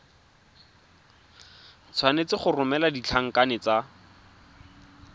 tshwanetse go romela ditlankana tse